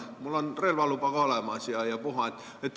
Mul on relvaluba ka olemas ja puha.